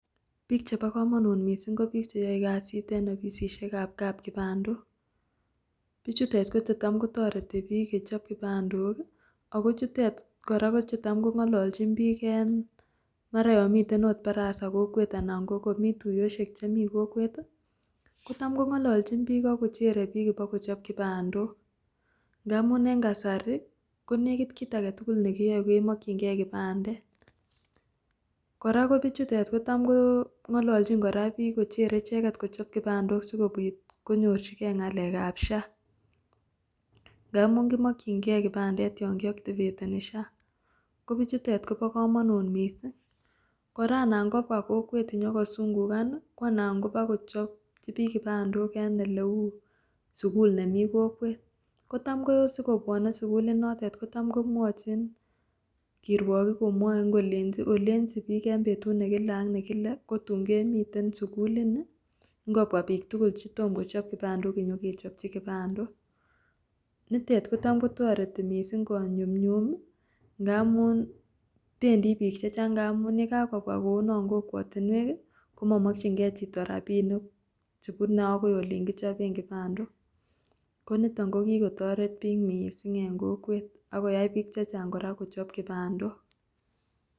Biik chebokomonut mising ko biik cheyoe kasit en ofisishekab kipandok, bichutet ko chetam kotoreti biik kechob kipandok ak ko chutet kora chetam Kong'ololchin biik en mara yoon miten oot barasa kokwet anan komii tuyoshek chemii kokwet kotam ko ng'ololchin biik ak kochere biik ibakochob kipandok ng'amun en kasari konekit kiit aketukul nekiyoe kemokying'e kipandet, kora ko bichutet kotam Ko ng'ololchin kora biik kochere icheket kochob kipandok sikobiit konyorchikee ng'alekab SHA ng'amun komokying'e kipandet yoon kioktiveteni SHA, kobichutet kobokomonut mising, kora anan kobwa kokwet inyokosung'ukan ko anan kobokochobchi biik kipandok eleuu sukul nemii kokwet, kotam ko sikobwone sukul inotet kotam komwochin kirwokik komwoin kolenchin olenchin biik kobwa betut nekile ak nekile kotun kemiten sukulini, ng'obwa biik tukul chetom kochob kipandok inyokechobchi kipandok, nitet kotam kotoreti mising konyumnyum ng'amun bendi biik chechang ng'amun yekakobwa kounon kokwotinwek komomokying'e chito rabinik chebune akoi oliin kichoben kipandok, koniton ko kikotoret biik mising en kokwet ak koyai biik chechang kora kochob kipandok.